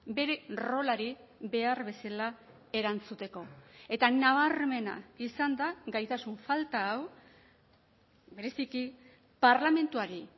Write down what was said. bere rolari behar bezala erantzuteko eta nabarmena izan da gaitasun falta hau bereziki parlamentuari